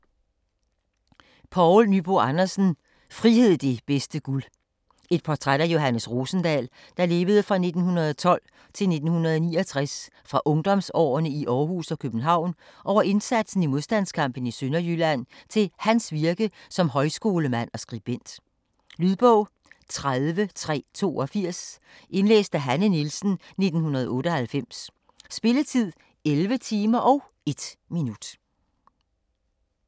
Nyboe Andersen, Poul: Frihed det bedste guld Et portræt af Johannes Rosendahl (1912-1969), fra ungdomsårene i Århus og København over indsatsen i modstandskampen i Sønderjylland til hans virke som højskolemand og skribent. Lydbog 30382 Indlæst af Hanne Nielsen, 1998. Spilletid: 11 timer, 1 minut.